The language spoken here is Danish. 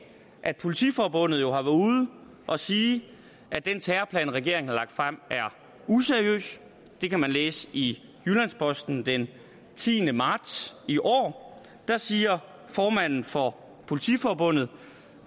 at politiforbundet jo har været ude og sige at den terrorplan regeringen har lagt frem er useriøs det kan man læse i jyllands posten den tiende marts i år der siger formanden for politiforbundet